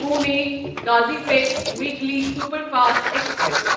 Pune Kazipet weekly superfast express